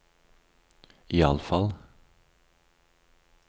iallfall